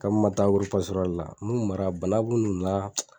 Kami n ma taa la n'u yu mara bana bi n'u la.